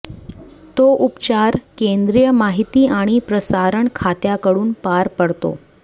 तो उपचार केंद्रीय माहिती आणि प्रसारण खात्याकडून पार पडतो